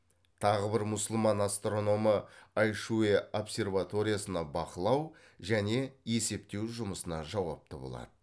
тағы бір мұсылман астрономы айшуе обсерваториясына бақылау және есептеу жұмысына жауапты болады